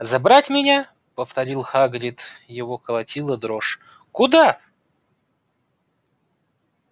забрать меня повторил хагрид его колотила дрожь куда